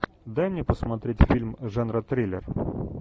дай мне посмотреть фильм жанра триллер